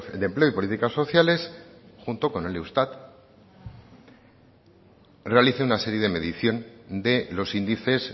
de empleo y políticas sociales junto con el eustat realice una serie de medición de los índices